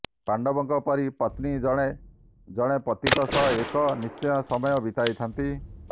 ପାଣ୍ଡବଙ୍କ ପରି ପତ୍ନୀ ଜଣେ ଜଣେ ପତିଙ୍କ ସହ ଏକ ନିଶ୍ଚିତ ସମୟ ବିତାଇଥାନ୍ତି